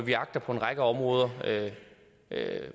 vi agter på en række områder